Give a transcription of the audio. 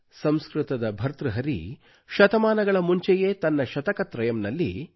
ಸಂಸ್ಕೃತದ ಭರ್ತೃಹರಿಯು ಶತಮಾನಗಳ ಮುಂಚೆಯೇ ತನ್ನ ಶತಕತ್ರಯಮ್ ನಲ್ಲಿ